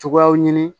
Cogoyaw ɲini